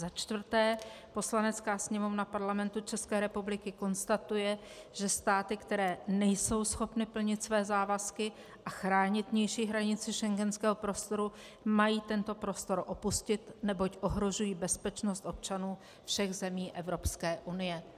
Za čtvrté: Poslanecká sněmovna Parlamentu České republiky konstatuje, že státy, které nejsou schopny plnit své závazky a chránit vnější hranici schengenského prostoru, mají tento prostor opustit, neboť ohrožují bezpečnost občanů všech zemí Evropské unie.